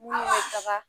Minnu bɛ taga